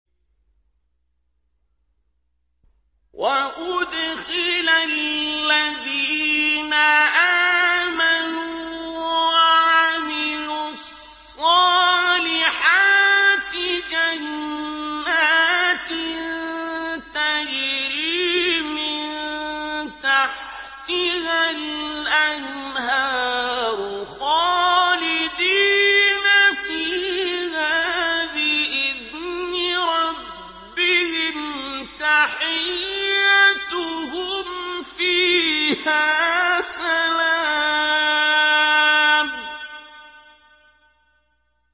وَأُدْخِلَ الَّذِينَ آمَنُوا وَعَمِلُوا الصَّالِحَاتِ جَنَّاتٍ تَجْرِي مِن تَحْتِهَا الْأَنْهَارُ خَالِدِينَ فِيهَا بِإِذْنِ رَبِّهِمْ ۖ تَحِيَّتُهُمْ فِيهَا سَلَامٌ